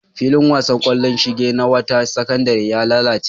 Filin wasan ƙwallon shinge na wata sakandare ya lalace.